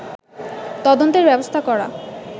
তদন্তের ব্যবস্থা করা